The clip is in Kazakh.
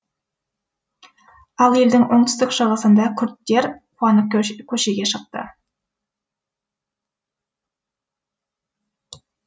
ал елдің оңтүстік шығысында күрдтер қуанып көшеге шықты